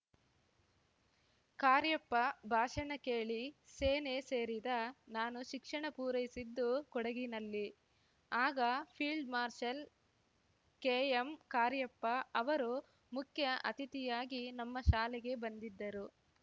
ಕಾರ್ಯಪ್ಪ ಭಾಷಣ ಕೇಳಿ ಸೇನೆ ಸೇರಿದ ನಾನು ಶಿಕ್ಷಣ ಪೂರೈಸಿದ್ದು ಕೊಡಗಿನಲ್ಲಿ ಆಗ ಫೀಲ್ಡ್‌ ಮಾರ್ಷಲ್‌ ಕೆಎಂ ಕಾರ್ಯಪ್ಪ ಅವರು ಮುಖ್ಯ ಅತಿಥಿಯಾಗಿ ನಮ್ಮ ಶಾಲೆಗೆ ಬಂದಿದ್ದರು